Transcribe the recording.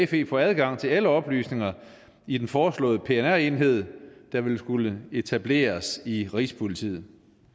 fe få adgang til alle oplysninger i den foreslåede pnr enhed der vil skulle etableres i rigspolitiet